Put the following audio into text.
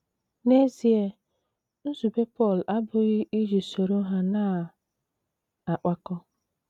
N’ezie, nzube Pọl abụghị iji soro ha na - akpakọ.